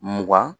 Mugan